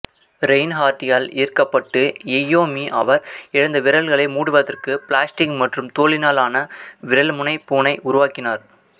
ரெயின்ஹார்ட்டியால் ஈர்க்கப்பட்டு இய்யோமி அவர் இழந்த விரல்களை மூடுவதற்கு பிளாஸ்டிக் மற்றும் தோலினால் ஆன விரல்முனைப் பூணை உருவாக்கினார்